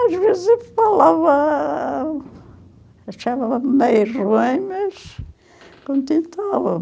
Às vezes eu falava, achava meio ruim, mas contentava